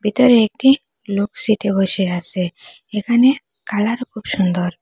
ভিতরে একটি লোক সিটে বসে আসে এখানে কালার খুব সন্দর।